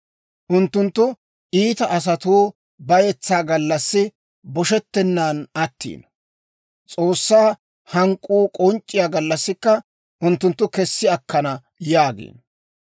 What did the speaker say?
Unttunttu, ‹Iita asatuu bayetsaa gallassi boshetenaan attiino; S'oossaa hank'k'uu k'onc'c'iyaa gallassikka unttunttu kessi akkana› yaagiino.